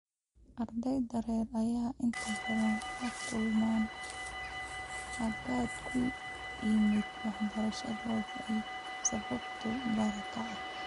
Ardeyda rer ayaa inta badan la kulma hakad ku yimaada waxbarashadooda oo ay sababto barakac.